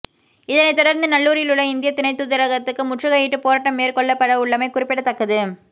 இதனைத் தொடர்ந்து நல்லூரிலுள்ள இந்திய துணை தூதரகத்து முற்றுகையிட்டு போராட்டம் மேற்கொள்ளப்படவுள்ளமை குறிப்பிடத்தக்கது